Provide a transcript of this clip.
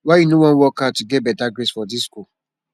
why you no wan work hard to get better grades for dis school